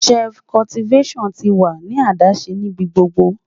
Shift Cultivation tí wà ní adáṣẹ́ níbí gbogbo